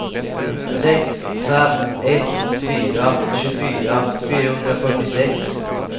sex fem ett fyra tjugofyra fyrahundrafyrtiosex